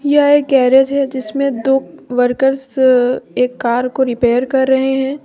यह एक गैरेज है जिसमें दो वर्कर्स एक कर को रिपेयर कर रहे हैं।